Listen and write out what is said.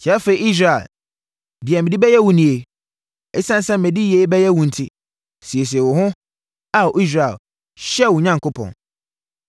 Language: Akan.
“Enti afei, Israel, deɛ mede bɛyɛ wo nie, na ɛsiane sɛ mede yei bɛyɛ wo enti, siesie wo ho, Ao Israel. Hyia wo Onyankopɔn.”